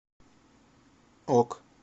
ок